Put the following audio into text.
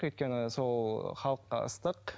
өйткен сол халыққа ыстық